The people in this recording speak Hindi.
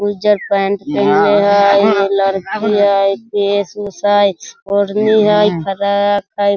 उज्जर पैंट पहनले हई ये लड़की हई हई ओढ़नी हई फ्रॉक हई।